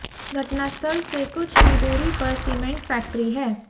घटनास्थल से कुछ ही दूरी पर सीमेंट फैक्ट्री है